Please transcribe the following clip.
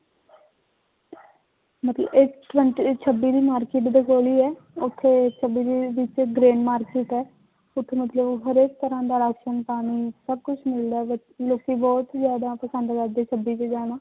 ਮਤਲਬ ਛੱਬੀ ਦੀ market ਦੇ ਕੋਲ ਹੀ ਹੈ ਉੱਥੇ ਛੱਬੀ ਦੀ ਵਿੱਚ grain market ਹੈ ਉੱਥੇ ਮਤਲਬ ਹਰੇਕ ਤਰ੍ਹਾਂ ਦਾ ਰਾਸ਼ਣ ਪਾਣੀ ਸਭ ਕੁਛ ਮਿਲਦਾ ਹੈ ਵੀ ਲੋਕੀ ਬਹੁਤ ਜ਼ਿਆਦਾ ਪਸੰਦ ਕਰਦੇ ਹੈ ਛੱਬੀ ਚ ਜਾਣਾ